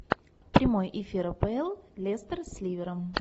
прямой эфир апл лестер с ливером